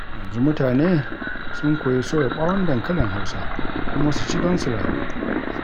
Yanzu mutane sun koyi soya ɓawon dankalin Hausa, kuma su ci don su rayu.